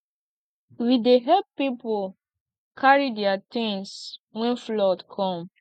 we dey help pipo carry their tins wen flood come